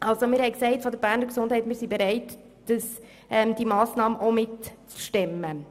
Seitens der Beges sind wir bereit, diese Massnahme stemmen zu helfen.